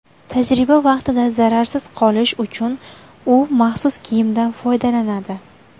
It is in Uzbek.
Tajriba vaqtida zararsiz qolish uchun u maxsus kiyimdan foydalanadi.